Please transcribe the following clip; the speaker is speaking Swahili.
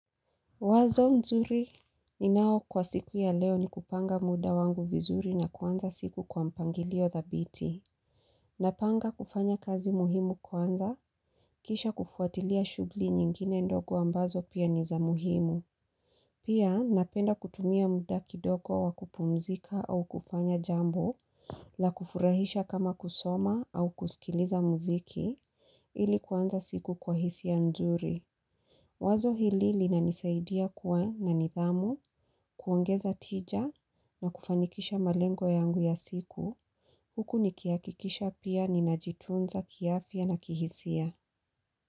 Wazo nzuri ni nao kwa siku ya leo ni kupanga muda wangu vizuri na kwanza siku kwa mpangilio thabiti. Napanga kufanya kazi muhimu kwanza, kisha kufuatilia shughuli nyingine ndogo ambazo pia niza muhimu. Pia napenda kutumia muda kidogo wakupumzika au kufanya jambo la kufurahisha kama kusoma au kusikiliza mziki ili kwanza siku kwa hisi ya nzuri. Wazo hili linanisaidia kuwa na nidhamu, kuongeza tija na kufanikisha malengo yangu ya siku. Huku nikia kikisha pia ninajitunza kiafia na kihisia.